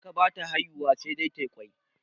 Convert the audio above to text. Tsaka ba ta haihuwa sai dai tayi ƙwai